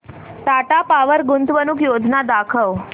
Tata power गुंतवणूक योजना दाखव